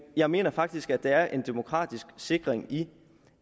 jeg mener faktisk at der er en demokratisk sikring i